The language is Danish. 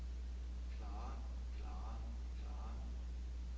klare klare klare